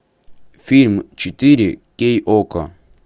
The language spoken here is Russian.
фильм четыре кей окко